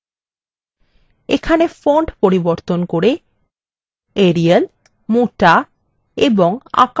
এখানে fonts পরিবর্তন করে arial মোটা এবং আকার ৮ করা যাক